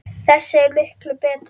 Þessi er miklu betri.